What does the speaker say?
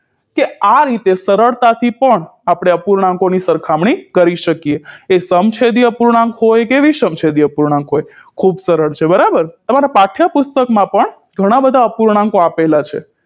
કે આ રીતે સરળતાથી પણ આપણે અપૂર્ણાંકોની સરખામણી કરી શકીએ એ સમછેદી અપૂર્ણાંક હોય કે વિષમછેદી અપૂર્ણાંક હોય ખૂબ સરળ છે બરાબર તમારા પાઠ્યપુષ્ટકમાં પણ ઘણા બધા અપૂર્ણાંકો આપેલા છે